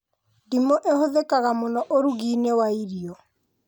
Ndimũ ihũthĩkaga mũno ũrugi-inĩ wa irio